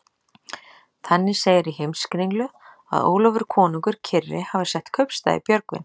Þannig segir í Heimskringlu að Ólafur konungur kyrri hafi sett kaupstað í Björgvin.